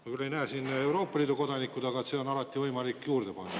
Ma küll ei näe siin Euroopa Liidu kodanikke, aga see on alati võimalik juurde panna.